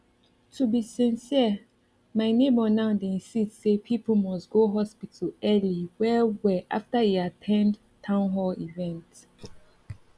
to be sincere my neighbor now dey insist say people must go hospital early well well after e at ten d town hall event